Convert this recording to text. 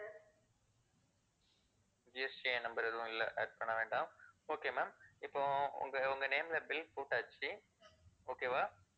GST number எதுவும் இல்ல add பண்ணவேண்டாம், okay ma'am இப்போ உங்க உங்க name ல bill போட்டாச்சு okay வா,